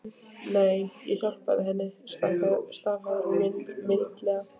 Nei, ég hjálpaði henni, staðhæfir hún mildilega.